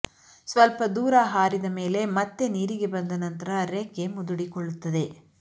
ಸ್ವಲ್ಪ ದೂರ ಹಾರಿದ ಮೇಲೆ ಮತ್ತೆ ನೀರಿಗೆ ಬಂದ ನಂತರ ರೆಕ್ಕೆ ಮುದುಡಿಕೊಳ್ಳುತ್ತದೆ